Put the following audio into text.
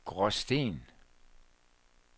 Gråsten